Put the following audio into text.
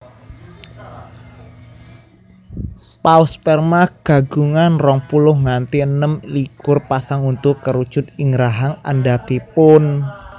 Paus Sperma kagungan rong puluh nganti enem likur pasang untu kerucut ing rahang andhapipun